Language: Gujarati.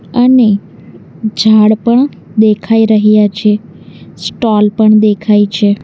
અને ઝાડ પણ દેખાય રહ્યા છે સ્ટોલ પણ દેખાય છે.